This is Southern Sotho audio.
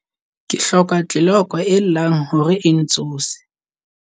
Ke hloka tleloko e llang hore e ntsose.